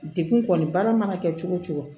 Degun kɔni baara mana kɛ cogo o cogo